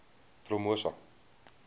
promosa